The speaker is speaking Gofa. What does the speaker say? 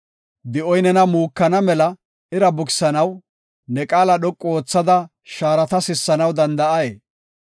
Di7oy nena muukana mela ira bukisanaw, ne qaala dhoqu oothada shaarata sissanaw danda7ay?